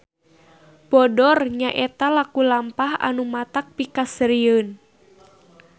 Bodor nyaeta laku-lampah anu matak pikaseurieun.